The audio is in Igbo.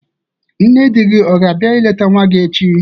Nne di gi o ga-abia ileta nwa gi echi?